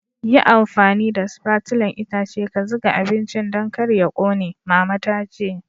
Yi amfani da spatulan itace ka zuga abincin Dan kar ya ƙone, mama ta ce.